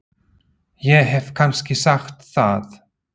Ég hef ekki sagt það!